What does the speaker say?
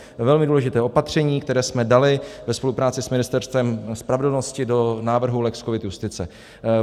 Velmi důležité opatření, které jsme dali ve spolupráci s Ministerstvem spravedlnosti do návrhu lex covid justice.